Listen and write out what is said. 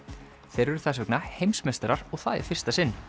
þeir eru þess vegna heimsmeistarar og það í fyrsta sinn